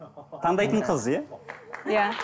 таңдайтын қыз иә иә